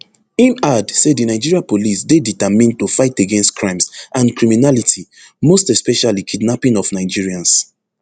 im add say di nigeria police dey determined to fight against crimes and criminality most especially kidnapping of nigerians